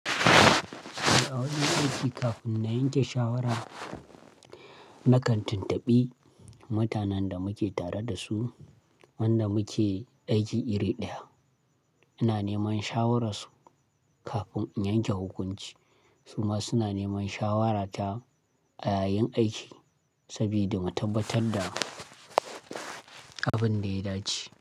A wajen aiki kafin na yanke shawara na kan tuntuɓi mutanen da mu ke tare da su, wanda muke aiki iri ɗaya. Ina neman shawararsu kafin in yanke hukunci. Su ma suna neman shawarata a yayin aiki saboda mu tabbatar da abin da ya dace.